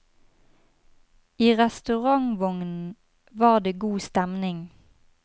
I restaurantvognen var det god stemning.